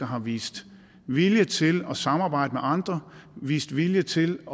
har vist vilje til at samarbejde med andre vist vilje til at